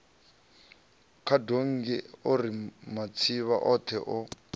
khadonngi ari matsivha othe o